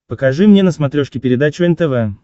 покажи мне на смотрешке передачу нтв